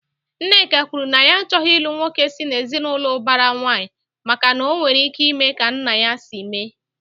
Nneka kwuru na ya achọghị ilu nwoke si na ezinaụlọ ubara nwanyi, maka na ọ nwere ike ime ka nna ya si mee